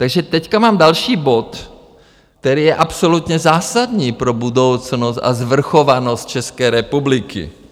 Takže teď mám další bod, který je absolutně zásadní pro budoucnost a svrchovanost České republiky.